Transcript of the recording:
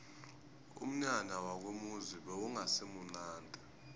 umnyanya wakomuzi bewungasimunandi